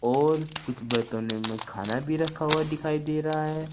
और कुछ बर्तनों में खाना भी रखा हुआ दिखाई दे रहा है।